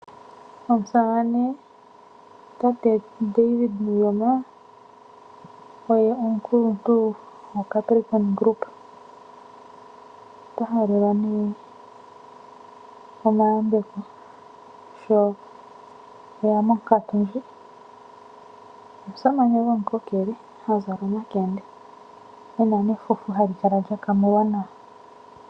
Omusamane tate David Nuuyoma oye omukuluntu goCapricorn group. Ota halelwa nduno omayambeko sho e ya monkatu ndjika. Omusamane gomukokele ha zala omakende e na nefufu lyokomutse hali kala lya kamulwa nawa.